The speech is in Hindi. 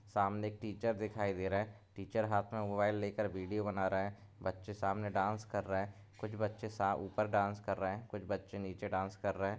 सामने एक टीचर दिखाई दे रहा है टीचर हाथ में मोबाइल लेकर वीडियो बना रहा है बच्चे सामने डांस कर रहे है कुछ बच्चे - सा ऊपर डांस कर रहे है कुछ बच्चे नीचे डांस कर रहे है।